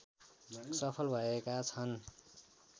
सफल भएका छन्